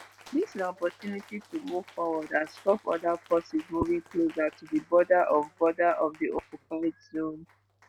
"dis na opportunity to move forward and stop oda forces moving closer to di border of border of di occupied zone."